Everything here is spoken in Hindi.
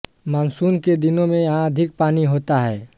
मानसून के दिनों में यहाँ अधिक पानी होता है